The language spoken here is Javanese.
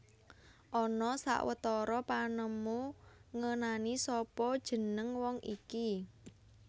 Ana sawetara panemu ngenani sapa jeneng wong iki